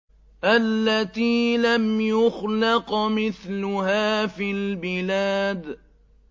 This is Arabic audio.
الَّتِي لَمْ يُخْلَقْ مِثْلُهَا فِي الْبِلَادِ